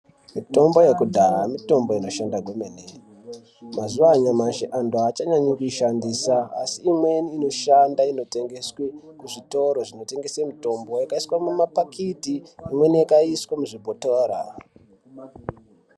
Mitombo yekudhaa mitombo inoshanda kwemene. Mazuva anyamashi antu haachanyanyi kuishandisa asi amweni inoshanda inotengeswe kuzvitoro zvinotengese mutombo. Yakaiswa mumapakiti imweni yakaiswe muzvibhotora.